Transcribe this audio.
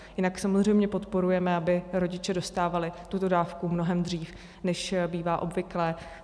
Jinak samozřejmě podporujeme, aby rodiče dostávali tuto dávku mnohem dřív, než bývá obvyklé.